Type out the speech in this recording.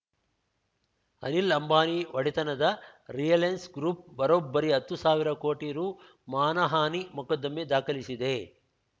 ಅನಿಲ್‌ ಅಂಬಾನಿ ಒಡೆತನದ Reliance group ಬರೋಬ್ಬರಿ ಹತ್ತು ಸಾವಿರ ಕೋಟಿ ರು ಮಾನಹಾನಿ ಮೊಕದ್ದಮೆ ದಾಖಲಿಸಿದೆ